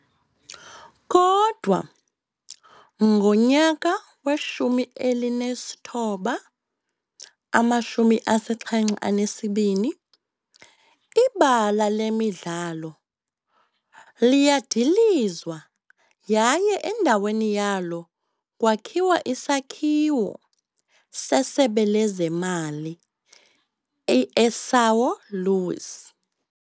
Kodwa ngowe-1972 ibala lemidlalo liyadilizwa yaye endaweni yalo kwakhiwa isakhiwo seSebe Lezemali eSão Luís.